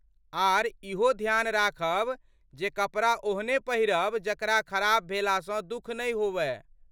आर, इहो ध्यान राखब जे कपड़ा ओहने पहिरब जकरा खराब भेलासँ दुख नहि होवै।